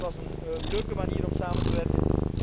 Het was een leuke manier om samen te werken.